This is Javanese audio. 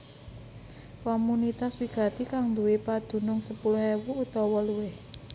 Komunitas wigati kang nduwé padunung sepuluh ewu utawa luwih